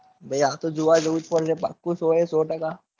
ભાઈ આજ તો જોવા જાઉં જ પડશે પાક્કું સો એ સો ટકા